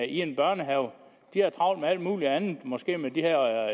en børnehave de har travlt med alt muligt andet måske med den her